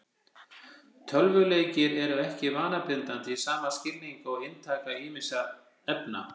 Tölvuleikir eru ekki vanabindandi í sama skilningi og inntaka ýmissa efna.